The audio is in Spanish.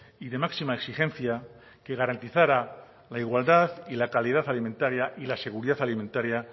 y de máxima exigencia que garantizara la igualdad y la calidad alimentaria y la seguridad alimentaria